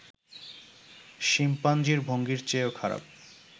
শিম্পাঞ্জির ভঙ্গির চেয়েও খারাপ